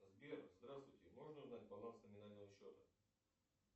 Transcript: сбер здравствуйте можно узнать баланс номинального счета